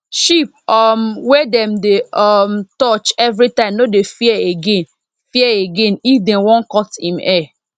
sheep um wey dem dey um touch every time no dey fear again fear again if dem wan cut em hair